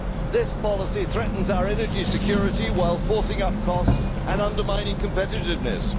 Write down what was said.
This policy threatens our energy security while forcing up costs and undermining competitiveness.